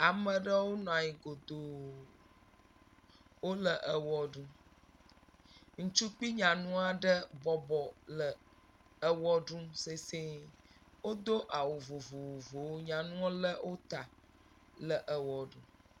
Ame ɖewo nɔ anyi kotoo, wole ewɔ ɖum, ŋutsu kpli nyanu aɖe bɔbɔ le ewɔ ɖum sesɛ̃e. Wodo awu vovovowo, nyanu lé wo ta le ewɔ ɖum.